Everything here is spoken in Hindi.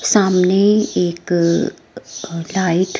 सामने एक अ लाइट --